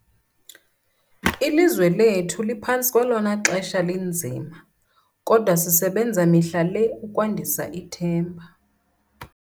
Ilizwe lethu liphantsi kwelona xesha linzima, kodwa sisebenza mihla le ukwandisa ithemba.